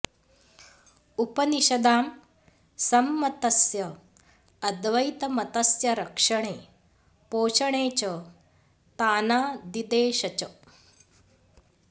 उपनिषदां सम्मतस्य अद्वैतमतस्य रक्षणे पोषणे च तानादिदेश च